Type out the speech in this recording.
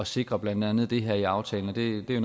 sikre blandt andet det her i aftalen og det er